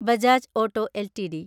Bajaj auto LTD